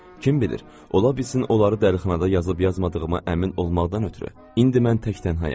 Kim bilir, ola bilsin onları dəlixanada yazıb yazmadığıma əmin olmaqdan ötrü, indi mən tək tənhaayam.